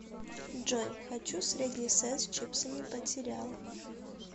джой хочу средний сет с чипсами под сериал